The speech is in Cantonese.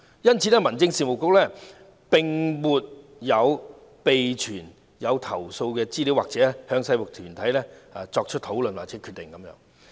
因此，民政事務局並沒有備存有關投訴的資料，亦沒有參與制服團體內部討論或決定。